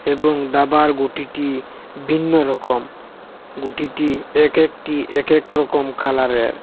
এবং দাবার গুটিটি ভিন্ন রকম গুটিটি এক একটি এক এক রকম কালারের।